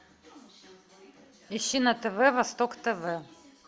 ищи на тв восток тв